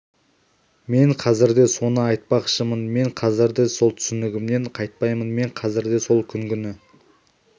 мен қазір де соны айтпақшымын мен қазір де сол түсінігімнен қайтпаймын мен қазір де сол күнгіні